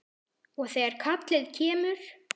Og þegar kallið kemur.